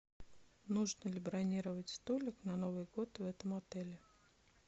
нужно ли бронировать столик на новый год в этом отеле